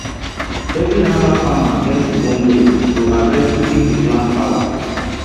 every herbal farmer get im own way to harvest to keep the plant power